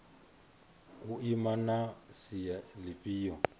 u ima na sia lifhio